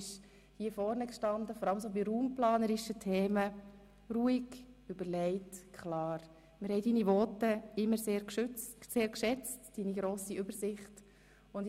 Du standst, vor allem bei raumplanerischen Themen, jeweils so ruhig, überlegt und klar hier vorne und wir haben deine Voten und deine grosse Übersicht immer sehr geschätzt.